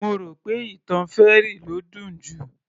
Mo rò pé ìtàn fairy ló dùn jù